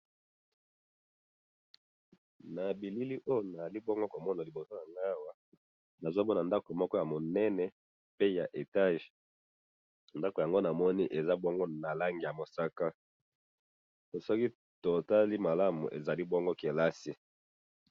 na bilili oyo nazali bongo komona liboso nangai awa, nazomona ndako moko ya munene, pe ya etage, ndako yango namoni eza bongo na langi ya mosaka, soki tokotali malamu ezali bongo classe